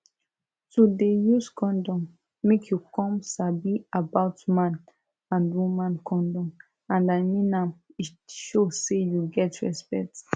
to dey use condom make you come sabi about man and woman condom and i mean am e show say you get respect